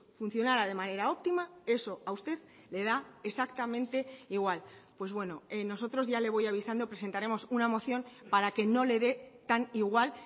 funcionará de manera óptima eso a usted le da exactamente igual pues bueno nosotros ya le voy a avisando presentaremos una moción para que no le dé tan igual